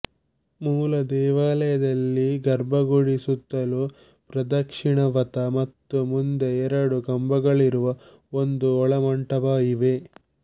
ಮೂಲ ದೇವಾಲಯದಲ್ಲಿ ಗರ್ಭಗುಡಿ ಸುತ್ತಲೂ ಪ್ರದಕ್ಷಿಣಾಪಥ ಮತ್ತು ಮುಂದೆ ಎರಡು ಕಂಬಗಳಿರುವ ಒಂದು ಒಳಮಂಟಪ ಇವೆ